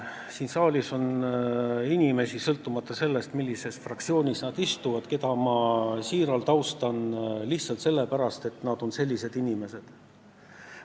Siin saalis on inimesi, sõltumata sellest, millises fraktsioonis nad istuvad, keda ma siiralt austan lihtsalt sellepärast, et nad on sellised inimesed, nagu nad on.